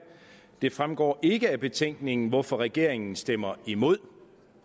det fremgår ikke af betænkningen hvorfor regeringen stemmer imod